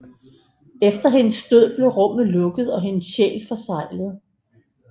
Efter hendes død blev rummet lukket og hendes sjæl forseglet